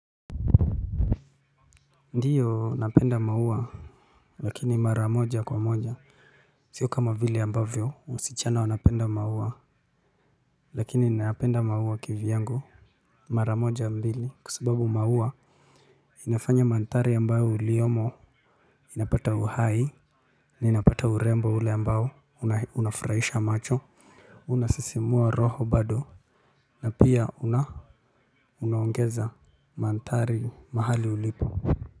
Ndiyo napenda maua lakini mara moja kwa moja. Sio kama vile ambavyo wasichana wanapenda maua lakini nayapenda maua kivi yangu. Mara moja mbili kwa sababu maua inafanya manthari ambayo uliyomo inapata uhai. Na inapata urembo ule ambao unafurahisha macho. Unasisimua roho bado. Na pia unaongeza manthari mahali ulipo.